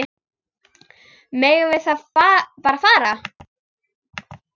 Megum við þá bara fara?